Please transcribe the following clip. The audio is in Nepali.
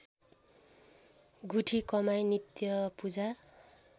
गुठी कमाई नित्यपूजा